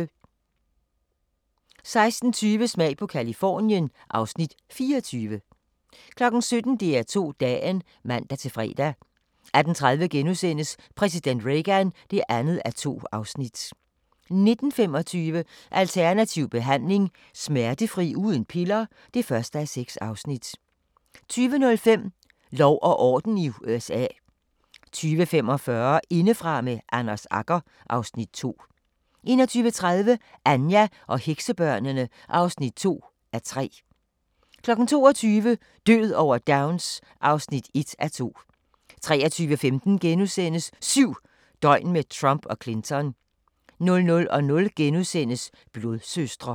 16:20: Smag på Californien (Afs. 24) 17:00: DR2 Dagen (man-fre) 18:30: Præsident Reagan (2:2)* 19:25: Alternativ behandling – Smertefri uden piller (1:6) 20:05: Lov og orden i USA 20:45: Indefra – med Anders Agger (Afs. 2) 21:30: Anja og heksebørnene (2:3) 22:00: Død over Downs (1:2) 23:15: 7 døgn med Trump og Clinton * 00:00: Blodsøstre *